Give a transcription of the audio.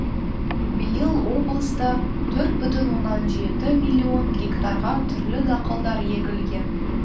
биыл облыста төрт бүтін оннан жеті миллион гектарға түрлі дақылдар егілген